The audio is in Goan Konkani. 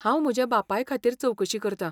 हांव म्हज्या बापाय खातीर चवकशी करता.